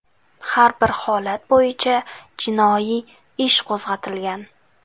Har bir holat bo‘yicha jinoiy ish qo‘zg‘atilgan.